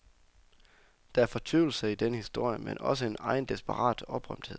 Der er fortvivlelse i denne historie, men også en egen, desperat oprømthed.